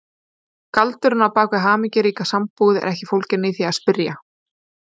Galdurinn á bak við hamingjuríka sambúð er ekki fólginn í því að spyrja